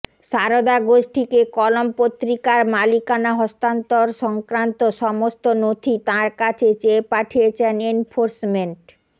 সারদা গোষ্ঠীকে কলম পত্রিকার মালিকানা হস্তান্তর সংক্রান্ত সংস্ত নথি তাঁর কাছে চেয়ে পাঠিয়েছে এনফোর্সমেন্ট